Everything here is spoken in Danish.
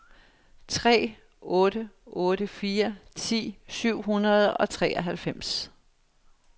tre otte otte fire ti syv hundrede og treoghalvfems